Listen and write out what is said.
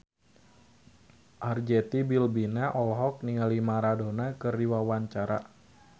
Arzetti Bilbina olohok ningali Maradona keur diwawancara